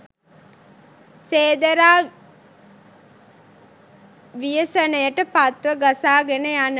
සේදරා ව්‍යසනයට පත්ව ගසාගෙන යන